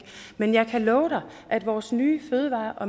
men jeg kan love dig at vores nye